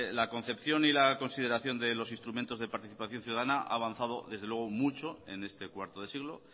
la concepción y la consideración de los instrumentos de participación ciudadana ha avanzado desde luego mucho en este cuarto de siglo